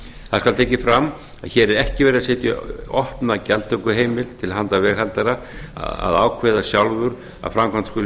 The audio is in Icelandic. skal tekið fram að hér er ekki verið að setja opna gjaldtökuheimild til handa veghaldara að ákveða sjálfur að framkvæmd skuli